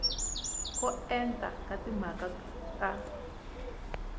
ko enta ka timhaka ta